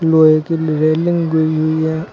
लोहे की रेलिंग गई हुई है।